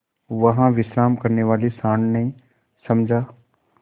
वहाँ विश्राम करने वाले सॉँड़ ने समझा